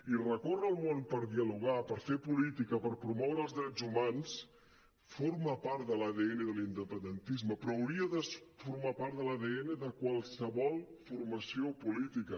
i recorre el món per dialogar per fer política per promoure els drets humans forma part de l’adn de l’independentisme però hauria de formar part de l’adn de qualsevol formació política